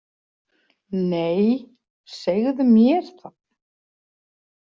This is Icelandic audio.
Nei, segðu mér það